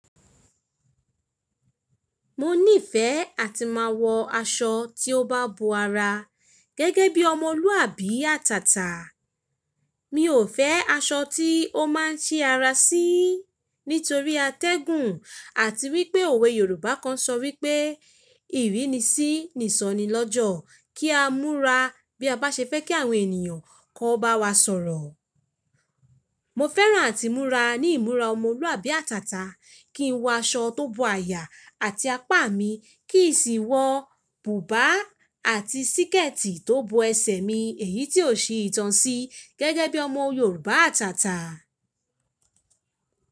Mo niìfẹ́ àti máa wọ aṣọ tí ó bá bo ara, gẹ́gẹ́ bí ọmọlúàbí àtàtà. Mi ò fẹ́ aṣọ tí ó máa ń ṣí ara sí, nítorí atẹ́gùn àti wípé òwe Yorùbá kan ṣọ wípé ìrínisí ni ìsọnilọ́jọ̀ kí á múra bí a bá ṣe fẹ́ kí àwọn ènìyàn kó bá wa sọ̀rọ̀. Mo fẹ́ràn àti múra ní ìmúra ọmọlúàbí àtàtà, kí n wọ aṣọ tó bo àyà àti apá mi kì í sì wọ bùbá àti síkẹ̀tì tó bo ẹsẹ̀ mi èyí tí ò ṣi ìtàn sí, gẹ́gẹ́ bí ọmọ Yorùbá àtàtà.